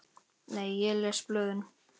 Nei ég les ekki blöðin.